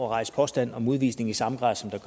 rejse påstand om udvisning i samme grad som det